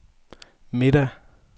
middag